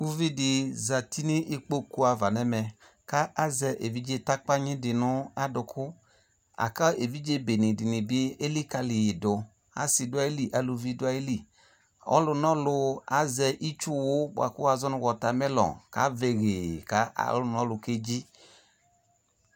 Uvi de zati no ukpoku ava no ɛmɛ ko azɛ evidze takpanyi de no adoko Aka evidze bene ne be elika yedo Ase so ayili, aluvi be do ayili Ɔlunɔlu azɛ itsuwu boako wazɔ no watemelon ko avɛ yee ko ɔlunɔlu kedzi